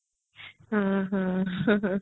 ହଁ ହଁ